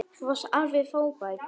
Þú varst alveg frábær.